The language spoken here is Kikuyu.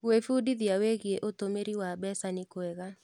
Gwĩbundithia wĩgiĩ ũtũmĩri wa mbeca nĩ kwega.